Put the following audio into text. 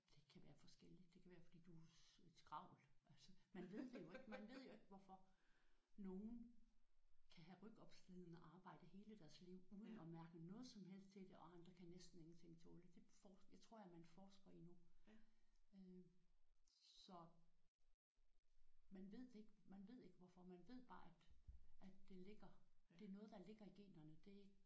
Det kan være forskelligt. Det kan være fordi du er et skravl. Altså man ved det jo ikke man ved ikke hvorfor nogen kan have rygopslidende arbejde hele deres liv uden at mærke noget som helst til det og andre kan næsten ingenting tåle. Det forsker det tror jeg man forsker i nu øh så man ved det ikke. Man ved ikke hvorfor. Man ved bare at at det ligger det er noget der ligger i generne det er ikke